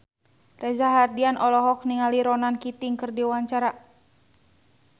Reza Rahardian olohok ningali Ronan Keating keur diwawancara